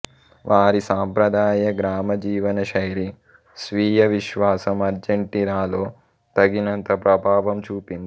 వారి సంప్రదాయ గ్రామ జీవనశైలి స్వీయవిశ్వాసం అర్జెంటీనాలో తగినంత ప్రభావం చూపింది